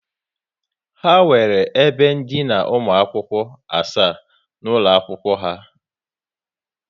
Ha nwere ebe ndina ụmụ akwụkwọ asaa n'ụlọ akwụkwọ ha